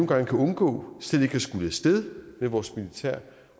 kan undgå slet ikke at skulle af sted med vores militær